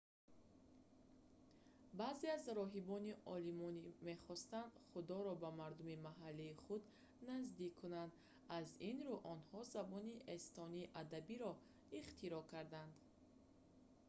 баъзе аз роҳибони олмонӣ мехостанд худоро ба мардуми маҳаллии худ наздик кунанд аз ин рӯ онҳо забони эстонии адабиро ихтироъ карданд